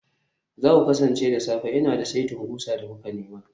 za ku kasance da safe, Ina da saitin ƙusa da kuka nema